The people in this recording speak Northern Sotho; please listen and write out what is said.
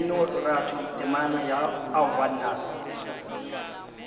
mminoratho temana ya aowa nna